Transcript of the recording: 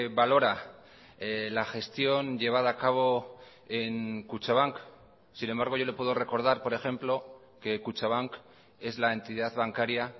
valora la gestión llevada a cabo en kutxabank sin embargo yo le puedo recordar por ejemplo que kutxabank es la entidad bancaria